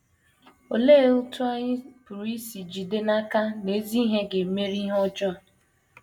Olee otú anyị pụrụ isi jide n’aka na ezi ihe ga - emeri ihe ọjọọ?